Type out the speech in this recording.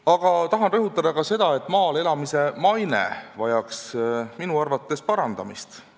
Aga tahan rõhutada seda, et ka maal elamise maine vajaks minu arvates parandamist.